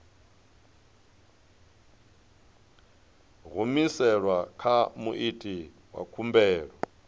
humiselwa kha muiti wa khumbelo